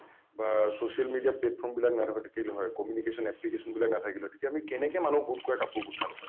বা social media platform বিলাক নাথাকিল হয় communication application বিলাক নাথাকিল হয় তেতিয়া আমি কেনেকৈ মানুহ গোট খুৱায় কাপোৰ গোটালো হয়?